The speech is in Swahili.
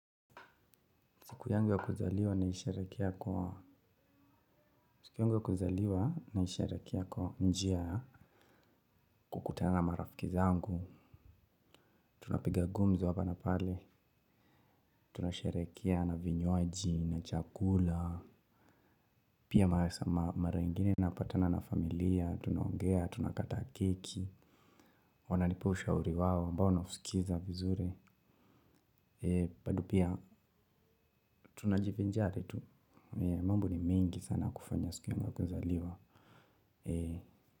Siku yangu ya kuzaliwa naisherekea kwa njia ya kukutana na marafiki zangu, tunapiga gumzo hapa na pale, tunasherekea na vinywaji, na chakula, pia mara ingine napatana na familia, tunaongea, tunakata keki, wananipa ushauri wao ambao nausikiza vizuri, bado pia tunajivinjari tu, mambo ni mengi sana kufanya siku yangu ya kuzaliwa.